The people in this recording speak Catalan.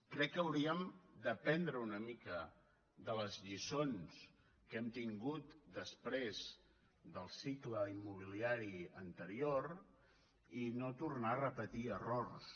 crec que hauríem d’aprendre una mica de les lliçons que hem tingut després del cicle immobiliari ante rior i no tornar a repetir errors